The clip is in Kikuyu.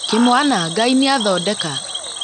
Kĩmwana Ngai nĩ athondeka